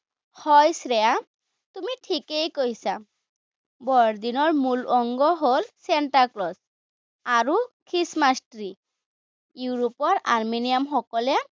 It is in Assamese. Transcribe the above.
হয় শ্ৰেয়া, তুমি ঠিকেই কৈছা। বৰদিনৰ মূল অংগ হল চেন্তাক্লজ, আৰু খ্ৰীষ্টমাচ ট্ৰি। ইউৰোপৰ আৰ্মেনিয়ান সকলে